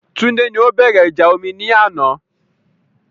Túndé ni o bẹ̀rẹ̀ ìjà omi ní àná